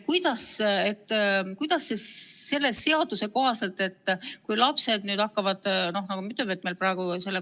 Selle seaduse kohaselt saavad lapsed nüüd hakata pöörduma iseseisvalt psühhiaatri poole.